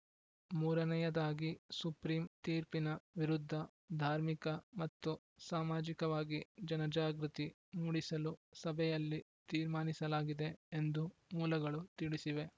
ಮೂರನೆಯದಾಗಿ ಸುಪ್ರೀಂ ತೀರ್ಪಿನ ವಿರುದ್ಧ ಧಾರ್ಮಿಕ ಮತ್ತು ಸಾಮಾಜಿಕವಾಗಿ ಜನಜಾಗೃತಿ ಮೂಡಿಸಲು ಸಭೆಯಲ್ಲಿ ತೀರ್ಮಾನಿಸಲಾಗಿದೆ ಎಂದು ಮೂಲಗಳು ತಿಳಿಸಿವೆ